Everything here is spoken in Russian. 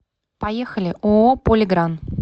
поехали ооо полигран